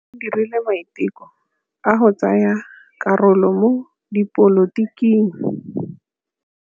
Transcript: O dirile maitekô a go tsaya karolo mo dipolotiking.